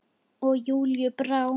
Og Júlíu brá.